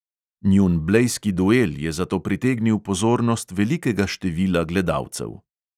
Njun blejski duel je zato pritegnil pozornost velikega števila gledalcev.